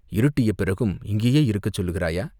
"இருட்டிய பிறகும் இங்கேயே இருக்கச் சொல்கிறாயா?